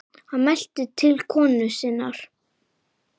Hann mælti til konu sinnar: